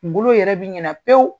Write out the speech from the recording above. Kungolo yɛrɛ bi ɲina pewu.